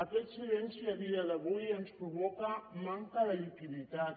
aquest silenci a dia d’avui ens provoca manca de liquiditat